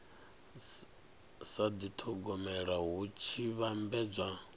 sa dithogomela hu tshi vhambedzwa